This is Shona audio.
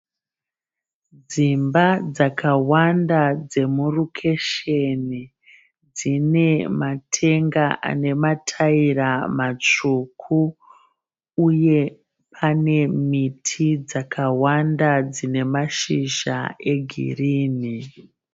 Dzimba dzakawanda dzemurokesheni. Dzine matenga anemataira matsvuku uye pane miti dzakawanda dzine mashizha egirinhi.